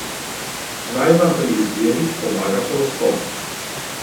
Naj vam pri izbiri pomaga horoskop.